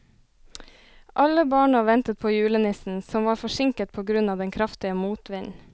Alle barna ventet på julenissen, som var forsinket på grunn av den kraftige motvinden.